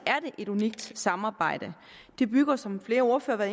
er det et unikt samarbejde det bygger som flere ordførere